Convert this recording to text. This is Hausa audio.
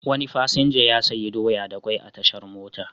Wani fasinja ya sayi doya da kwai a tashar mota.